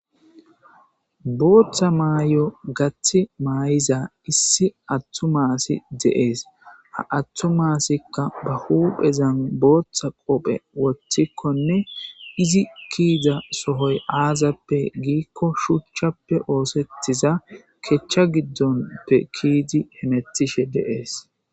Booththa maay7o gathi maay7iza issi attu maasi deees ha attu maasikka ba huphezan booththa qophe woththikkonne izi kiida sohoy aazappe giikko shuchchappe oosettiza kechcha giddonpe kiidi hemetishe deees